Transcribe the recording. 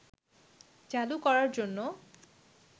চালু করার জন্য